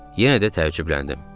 Yenə də təəccübləndim.